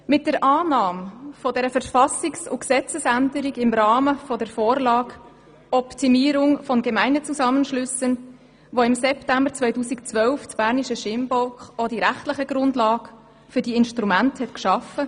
Mit der Annahme der Verfassungs- und Gesetzesänderung im Rahmen der Vorlage «Optimierung von Gemeindezusammenschlüssen» hat das Berner Stimmvolk im September 2012 die rechtliche Grundlage für diese Instrumente geschaffen.